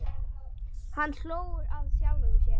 Hann hló að sjálfum sér.